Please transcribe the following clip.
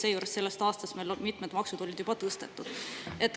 Seejuures on meil sellest aastast mitmed maksud juba tõstetud.